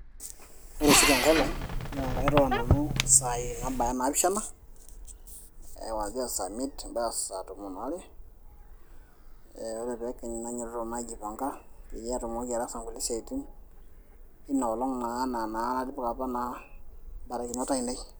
ore oshi tenkolong naa kairura nanu isaai naabaya naapishana kwanzia saa miet mpaka saa tomon aare ore ake peekenyu nainyototo naa aijipanga peyie atumoki ataasa nkulie siaitin ina olong naa ena apa naa enatipika naa imbarakinot ainei.